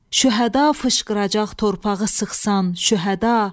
Şühəda fışqıracaq torpağı sıxsan, şühəda.